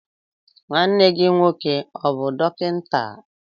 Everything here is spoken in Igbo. Nwanne gị nwoke ọ bụ dọkịta?